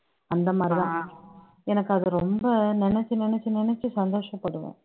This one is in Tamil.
அந்த மாதிரிதான் எனக்கு அது ரொம்ப நினைச்சு நினைச்சு நினைச்சு சந்தோஷப்படுவோம்